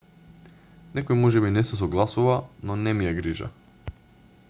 некој можеби не се согласува но не ми е грижа